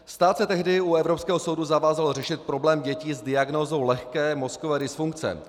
Stát se tehdy u Evropského soudu zavázal řešit problém dětí s diagnózou lehké mozkové dysfunkce.